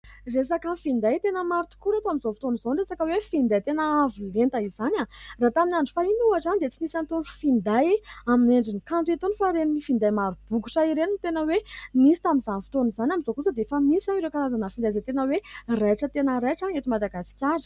Resaka finday. Tena maro tokoa eto amin'izao fotoan'izao ny resaka hoe finday, tena avolenta izany raha tamin'ny andro fahiny ohatra dia tsy nisy an'itony finday amin'ny endrin'ny kanto itony fa ireny finday maro bokotra ireny no tena hoe nisy tamin'izany fotoan'izany. Amin'izao kosa dia efa misy ireo karazana finday izay tena hoe raitra tena raitra eto Madagasikara.